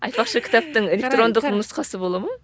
айтпақшы кітаптың электрондық нұсқасы бола ма